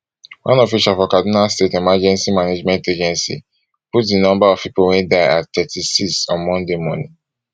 one official for kaduna state emergency management agency put di number of pipo wey die at thirty-six on monday morning